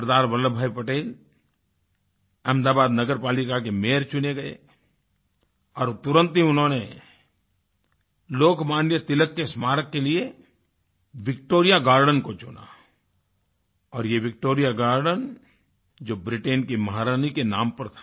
सरदार वल्लभ भाई पटेल अहमदाबाद नगर पालिका के मायोर चुने गए और तुरंत ही उन्होंने लोकमान्य तिलक के स्मारक के लिए विक्टोरिया गार्डेन को चुना और यह विक्टोरिया गार्डेन जो ब्रिटेन की महारानी के नाम पर था